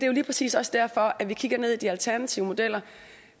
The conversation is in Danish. jo lige præcis også derfor at vi kigger ned i de alternative modeller